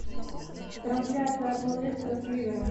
трансляция апл лестера с ливером